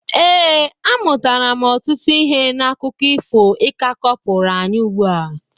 ee, amụtara m ọtụtụ ihe n'akụkọ ifo ị ka kọpụrụ anyị ugbua